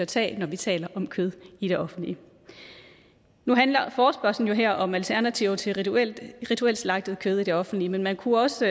tage når vi taler om kød i det offentlige nu handler forespørgslen her jo om alternativer til rituelt rituelt slagtet kød i det offentlige men man kunne også